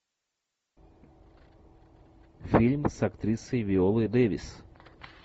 фильм с актрисой виолой дэвис